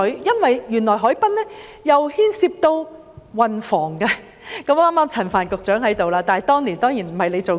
原來海濱規劃牽涉到運房局，陳帆局長剛好在席，但當年他當然不在任。